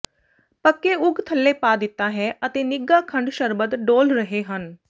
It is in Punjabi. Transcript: ਪੱਕੇ ਉਗ ਥੱਲੇ ਪਾ ਦਿੱਤਾ ਹੈ ਅਤੇ ਨਿੱਘਾ ਖੰਡ ਸ਼ਰਬਤ ਡੋਲ੍ਹ ਰਹੇ ਹਨ